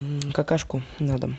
какашку на дом